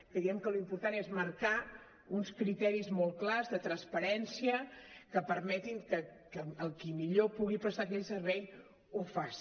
creiem que l’important és marcar uns criteris molt clars de transparència que permetin que el qui millor pugui prestar aquell servei ho faci